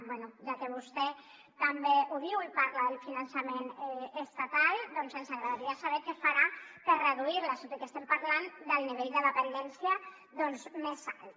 bé ja que vostè també ho diu i parla del finançament estatal doncs ens agradaria saber què farà per reduir les tot i que estem parlant del nivell de dependència més alt